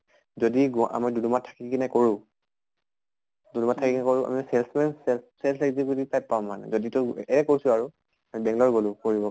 যদি গুৱা আমি দুম্দুমাত থাকি কিনে কৰোঁ, দুম্দুমাত থাকি কিনে কৰোঁ sales man sales sales executive type পাম মানে যদি তোক এ কৈছো আৰু। বেঙ্গালৰ গʼলো পঢ়িবৰ